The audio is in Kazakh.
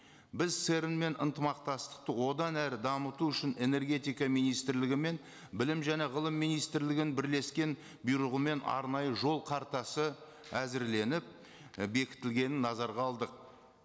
біз церн мен ынтымақтастықты одан әрі дамыту үшін энергетика министрлігі мен білім және ғылым министрлігінің бірлескен бұйрығымен арнайы жол қартасы әзірленіп і бекітілгенін назарға алдық